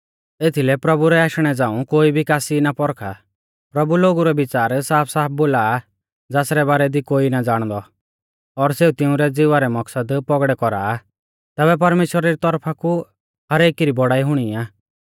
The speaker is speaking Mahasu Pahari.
एथीलै प्रभु रै आशणै झ़ाऊं कोई भी कासी ना पौरखा प्रभु लोगु रै विच़ार साफसाफ बोला आ ज़ासरै बारै दी कोई ना ज़ाणदौ और सेऊ तिउंरै ज़िवा रै मकसद पौगड़ै कौरा आ तैबै परमेश्‍वरा री तौरफा कु हर एकी री बौड़ाई हुणी आ